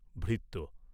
ভৃত্য।